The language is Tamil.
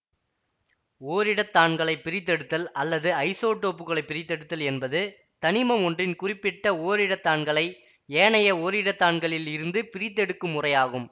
ஓரிடத்தான்களைப் பிரித்தெடுத்தல் அல்லது ஐசோடோப்புகளைப் பிரித்தெடுத்தல் என்பது தனிமம் ஒன்றின் குறிப்பிட்ட ஓரிடத்தான்களை ஏனைய ஓரிடத்தான்களீல் இருந்து பிரித்தெடுக்கும் முறையாகும்